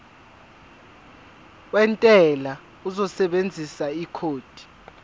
wentela uzosebenzisa ikhodi